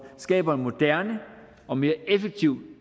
skaber en moderne og mere effektiv